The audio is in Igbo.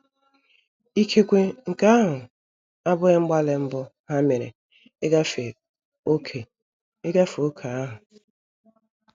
Ikekwe nke ahụ abụghị mgbalị mbụ ha mere ịgafe ókè ịgafe ókè ahụ.